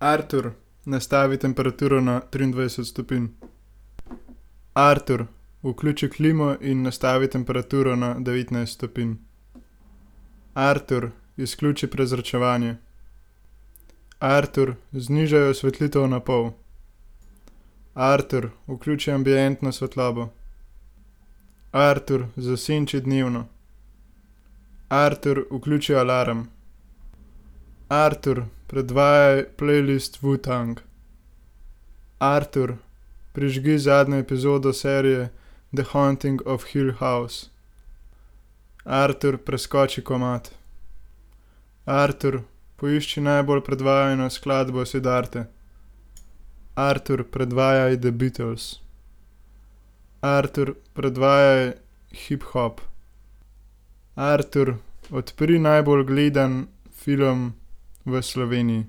Artur, nastavi temperaturo na triindvajset stopinj. Artur, vključi klimo in nastavi temperaturo na devetnajst stopinj. Artur, izključi prezračevanje. Artur, znižaj osvetlitev na pol. Artur, vključi ambientno svetlobo. Artur, zasenči dnevno. Artur, vključi alarm. Artur, predvajaj plejlist Wu-Tang. Artur, prižgi zadnjo epizodo serije The haunting of Hill house. Artur, preskoči komad. Artur, poišči najbolj predvajano skladbo Siddharte. Artur, predvajaj The Beatles. Artur, predvajaj hiphop. Artur, odpri najbolj gledan film v Sloveniji.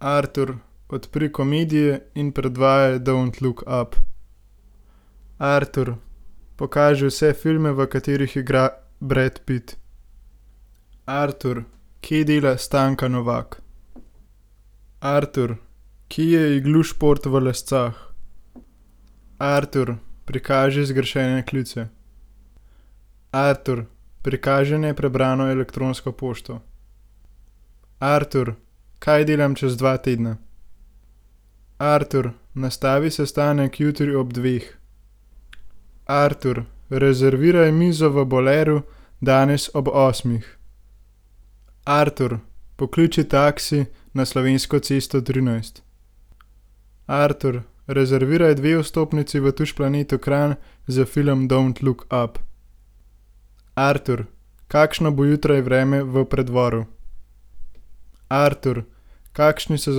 Artur, odpri komedije in predvajaj Don't look up. Artur, pokaži vse filme, v katerih igra Brad Pitt. Artur, kje dela [ime in priimek] ? Artur, kje je Iglu šport v Lescah? Artur, prikaži zgrešene klice. Artur, prikaži neprebrano elektronsko pošto. Artur, kaj delam čez dva tedna? Artur, nastavi sestanek jutri ob dveh. Artur, rezerviraj mizo v Boleru danes ob osmih. Artur, pokliči taksi na Slovensko cesto trinajst. Artur, rezerviraj dve vstopnici v Tuš planetu Kranj za film Don't look up. Artur, kakšno bo jutri vreme v Preddvoru? Artur, kakšni so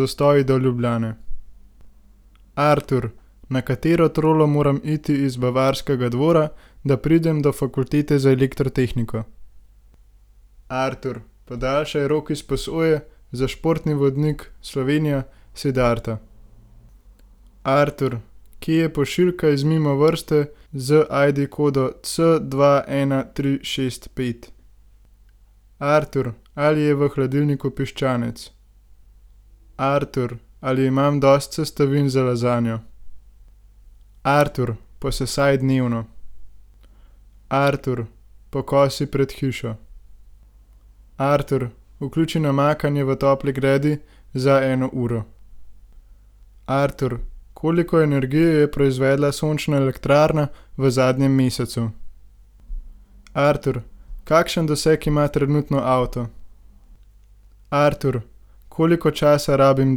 zastoji do Ljubljane? Artur, na katero trolo moram iti iz Bavarskega dvora, da pridem do fakultete za elektrotehniko? Artur, podaljšaj rok izposoje za športni vodnik Slovenija Siddharta. Artur, kje je pošiljka iz Mimovrste z ID-kodo C dva, ena, tri, šest, pet? Artur, ali je v hladilniku piščanec? Artur, ali imam dosti sestavin za lazanjo? Artur, posesaj dnevno. Artur, pokosi pred hišo. Artur, vključi namakanje v topli gredi za eno uro. Artur, koliko energije je proizvedla sončna elektrarna v zadnjem mesecu? Artur, kakšen doseg ima trenutno avto? Artur, koliko časa rabim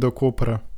do Kopra?